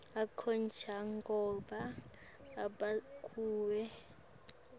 akho njengobe abekiwe